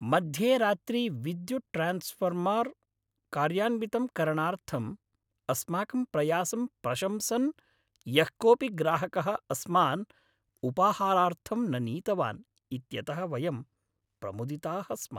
मध्येरात्रि विद्युत् ट्रान्स्फ़ार्मर् कार्यान्वितं करणार्थम् अस्माकं प्रयासं प्रशंसन् यः कोऽपि ग्राहकः अस्मान् उपाहारार्थं न नीतवान् इत्यतः वयं प्रमुदिताः स्मः।